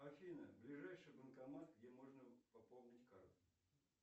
афина ближайший банкомат где можно пополнить карту